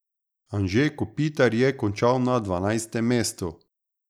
Anže Kopitar je končal na dvanajstem mestu.